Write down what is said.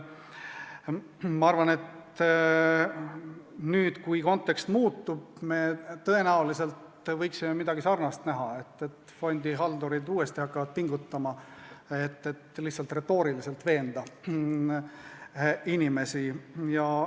Ma arvan, et nüüd, kui kontekst muutub, võime me tõenäoliselt näha midagi sarnast: fondihaldurid hakkavad uuesti pingutama, et lihtsalt retooriliselt inimesi veenda.